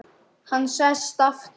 Hann sest aftur.